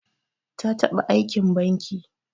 Ta taba Aikin banki.